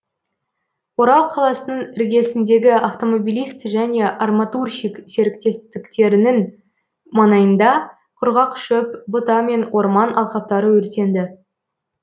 орал қаласының іргесіндегі автомобилист және арматурщик серіктестіктерінің маңайында құрғақ шөп бұта мен орман алқаптары өртенді